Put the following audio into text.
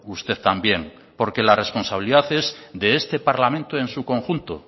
usted también porque la responsabilidad es de este parlamento en su conjunto